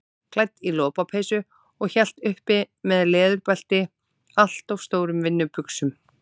Klædd í lopapeysu og hélt uppi með leðurbelti allt of stórum vinnubuxum.